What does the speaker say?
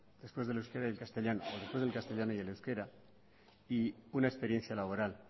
después del euskera y el castellano o después del castellano y el euskera y una experiencia laboral